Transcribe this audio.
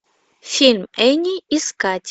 фильм энни искать